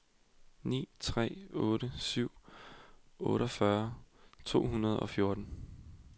ni tre otte syv otteogfyrre to hundrede og fjorten